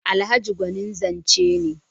Alhaji gwanin zance ne.